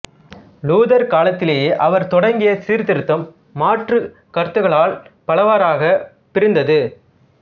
Luther காலத்திலேயே அவர் தொடங்கிய சீர்திருத்தம் மாற்று கருத்துக்களால் பலவாறாகப் பிரிந்தது